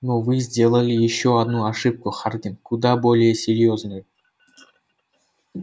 но вы сделали ещё одну ошибку хардин куда более серьёзную